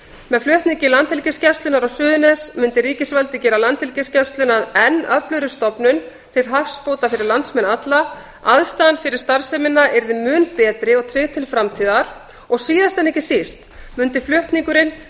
með flutningi landhelgisgæslunnar á suðurnes mundi ríkisvaldið gera landhelgisgæsluna að enn öflugri stofnun til hagsbóta fyrir landsmenn alla aðstaðan fyrir starfsemina yrði mun betri og tryggð til framtíðar og síðast en ekki síst mundi flutningurinn